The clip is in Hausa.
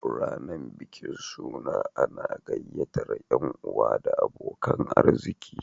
Rayanar bikin suna ana gyayyatar yan'uwa da abokanan arziki